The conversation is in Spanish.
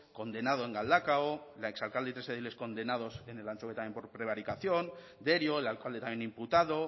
condenado en galdakao la ex alcalde y tres ediles condenados en elantxobe también por prevaricación derio el alcalde también imputado